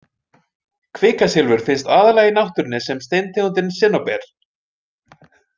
Kvikasilfur finnst aðallega í náttúrunni sem steintegundin sinnóber.